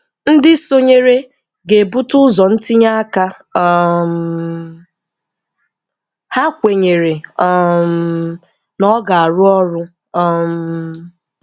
Ndị sonyere ga-ebute ụzọ ntinye aka um ha kwenyere um na ọ ga-arụ ọrụ. um